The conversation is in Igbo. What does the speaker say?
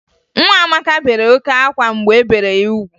Nwa Amaka bere oke ákwá mgbe e bere ya ugwu